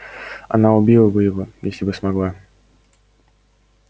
она убила бы его если бы смогла